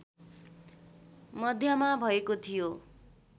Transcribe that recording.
मध्यमा भएको थियो